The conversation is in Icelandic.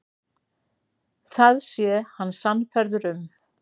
Það sé hann sannfærður um.